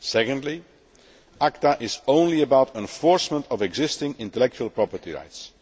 Secondly, ACTA is only about enforcement of existing intellectual property rights.